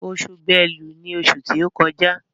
Oṣù Bélú ní oṣù tí o kọjá.